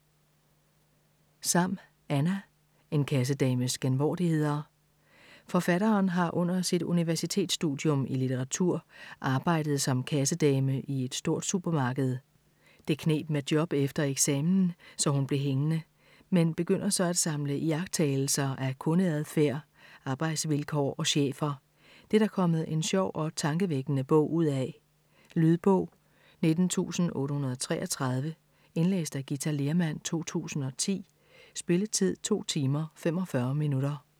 Sam, Anna: En kassedames genvordigheder Forfatteren har under sit universitetsstudium i litteratur arbejdet som kassedame i et stort supermarked. Det kneb med job efter eksamen, så hun blev hængende. Men begynder så at samle iagttagelser af kundeadfærd, arbejdsvilkår og chefer. Det er der kommet en sjov og tankevækkende bog ud af. Lydbog 19833 Indlæst af Githa Lehrmann, 2010. Spilletid: 2 timer, 45 minutter.